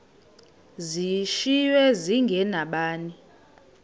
zishiywe zinge nabani